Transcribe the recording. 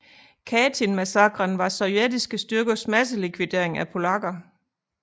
Katynmassakren var sovjetiske styrkers masselikvidering af polakker